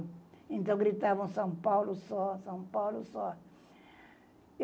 Então, gritavam São Paulo só, São Paulo só.